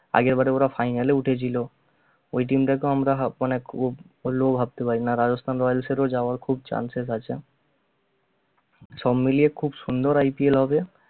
আগের বারে ওরা final এ উঠেছিল ঐ দিনটাতো আমরা অনেক খুব সপ্নেও ভাবতে পারি না rajsthan royals এরও যাওয়ার খুব chances আছে সব মিলে খুব সুন্দর IPL হবে